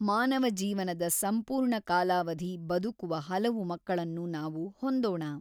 ಮಾನವ ಜೀವನದ ಸಂಪೂರ್ಣ ಕಾಲಾವಧಿ ಬದುಕುವ ಹಲವು ಮಕ್ಕಳನ್ನು ನಾವು ಹೊಂದೋಣ.